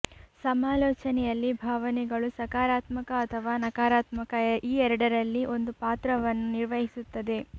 ಸಮಾಲೋಚನೆಯಲ್ಲಿ ಭಾವನೆಗಳು ಸಕಾರಾತ್ಮಕ ಅಥವಾ ನಕಾರಾತ್ಮಕ ಈ ಎರಡರಲ್ಲಿ ಒಂದು ಪಾತ್ರವನ್ನು ನಿರ್ವಹಿಸುತ್ತದೆ